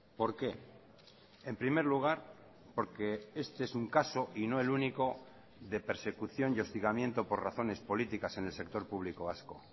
por qué en primer lugar porque este es un caso y no el único de persecución y hostigamiento por razones políticas en el sector público vasco